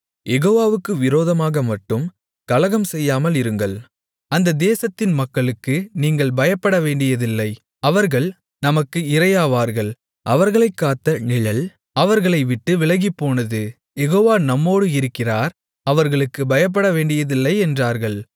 யெகோவாவுக்கு விரோதமாகமட்டும் கலகம்செய்யாமலிருங்கள் அந்த தேசத்தின் மக்களுக்கு நீங்கள் பயப்படவேண்டியதில்லை அவர்கள் நமக்கு இரையாவார்கள் அவர்களைக் காத்த நிழல் அவர்களை விட்டு விலகிப்போனது யெகோவா நம்மோடு இருக்கிறார் அவர்களுக்குப் பயப்படவேண்டியதில்லை என்றார்கள்